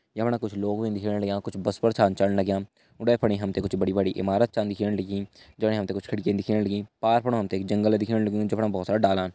या फणा कुछ लोग भीन दिखेण लग्यां कुछ बस पर छा चण लग्यां उंडे फणि हम तें कुछ बड़ी बड़ी इमारत छान दिखेण लगीं जणे हम ते कुछ खिडकी दिखेण लगीं पार फुणा हम तें एक जंगल दिखेण लग्युं जफणा बहोत सारा डालन।